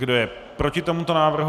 Kdo je proti tomuto návrhu?